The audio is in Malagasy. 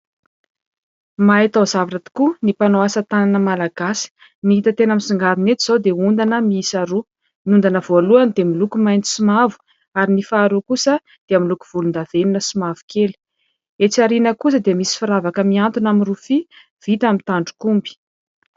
Mahay taozavatra tokoa ny mpanao asa tanana malagasy. Ny hita tena misongadina eto izao dia ondana miisa roa. Ny ondana voalohany dia miloko mainty sy mavo ary ny faharoa koasa dia miloko volondavenona sy mavokely. Etsy aoriana kosa dia misy firavaka mihantona amin'ny rofia vita amin'ny tandrok'omby.